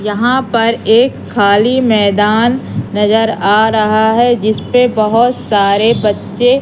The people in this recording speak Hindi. यहां पर एक खाली मैदान नजर आ रहा है जिस पे बहोत सारे बच्चे--